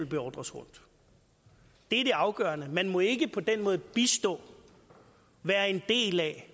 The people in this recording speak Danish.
beordres rundt det er det afgørende man må ikke på den måde bistå være en del af